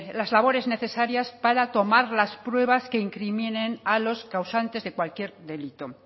las labores necesarias para tomar las pruebas que incriminen a los causantes de cualquier delito